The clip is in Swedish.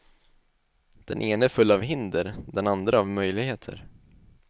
Den ene full av hinder, den andre av möjligheter.